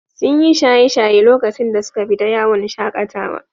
Sun yi shaye-shaye lokacin da suka fita yawon shaƙatawa.